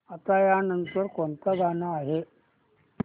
आता या नंतर कोणतं गाणं आहे